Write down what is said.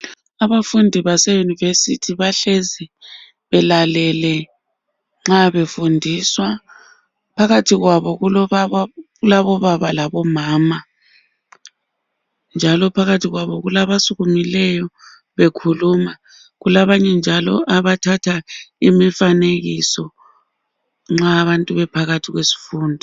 Abafundi baseyunivesithi bahlezi belalele nxa befundiswa phakathi kwabo kulabobaba labomama njalo phakathi kwabo kulabasukumileyo bekhuluma kulabanye njalo abathatha imifanekiso nxa abantu bephakathi kwesifundo